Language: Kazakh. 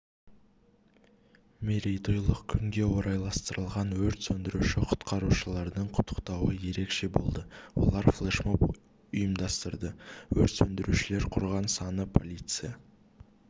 мерейтойлық күнге орайластырылған өрт сөндіруші-құтқарушылардың құттықтауы ерекше болды олар флешмоб ұйымдастырды өрт сөндірушілер құрған саны полиция